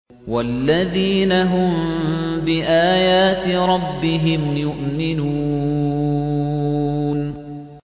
وَالَّذِينَ هُم بِآيَاتِ رَبِّهِمْ يُؤْمِنُونَ